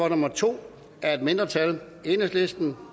nummer to af et mindretal